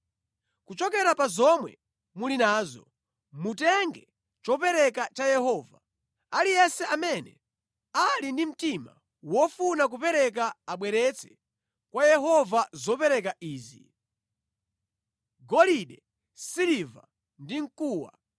Kuchokera pa zomwe muli nazo, mutenge chopereka cha Yehova. Aliyense amene ali ndi mtima wofuna kupereka abweretse kwa Yehova zopereka izi: Golide, siliva ndi mkuwa;